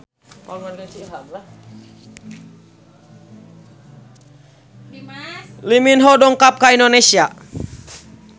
Lee Min Ho dongkap ka Indonesia